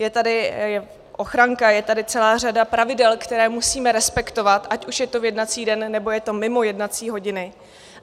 Je tady ochranka, je tady celá řada pravidel, která musíme respektovat, ať už je to v jednací den, nebo je to mimo jednací hodiny.